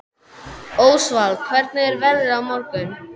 Ósvald, hvernig er veðrið á morgun?